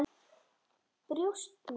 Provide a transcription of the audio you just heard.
Brjóst mín.